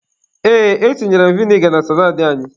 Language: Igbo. Ee, etinyere m viniga na salaadị anyị.